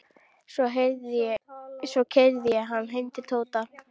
Svo keyrði ég hann heim til Tóta.